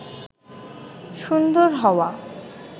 সুন্দর হওয়া